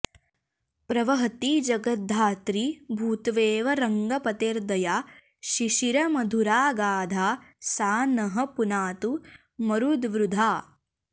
प्रवहति जगद्धात्री भूत्वेव रङ्गपतेर्दया शिशिरमधुराऽगाधा सा नः पुनातु मरुद्वृधा